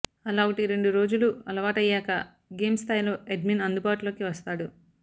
అలా ఒకటిరెండు రోజులు అలవాటయ్యాక గేమ్ స్థాయిలో అడ్మిన్ అందుబాటులోకి వస్తాడు